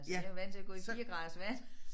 Så jeg jo vant til at gå i 4 graders vand